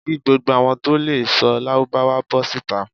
Ki gbogbo awọn to lee sọ lárúbáwá bó̩ sita